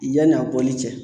Yani a bɔli cɛ